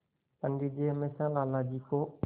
पंडित जी हमेशा लाला जी को